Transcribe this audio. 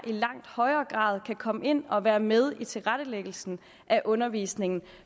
langt højere grad kan komme ind og være med i tilrettelæggelsen af undervisningen